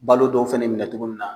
Balo dɔw fɛnɛ minɛ togo min na.